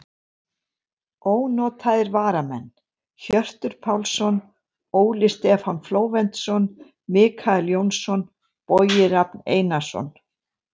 Ónotaðir varamenn: Hjörtur Pálsson, Óli Stefán Flóventsson, Michael Jónsson, Bogi Rafn Einarsson.